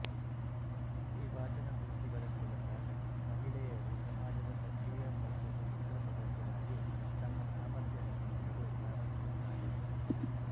ಈ ವಾಚನಗೋಷ್ಠಿಗಳ ಮೂಲಕ ಮಹಿಳೆಯರು ಸಮಾಜದ ಸಕ್ರಿಯ ಮತ್ತು ಸ್ವತಂತ್ರ ಸದಸ್ಯರಾಗಿ ತಮ್ಮ ಸಾಮರ್ಥ್ಯವನ್ನು ನೋಡಲು ಪ್ರಾರಂಭಿಸುತ್ತಾರೆ